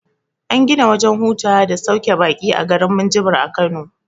An gina wajen hutawa da sauke baƙi a garin minjibir a kano